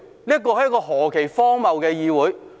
這是何其荒謬的議會。